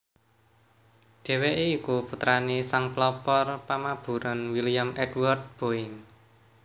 Dhèwèké iku putrané sang pelopor pamaburan William Edward Boeing